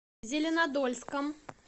зеленодольском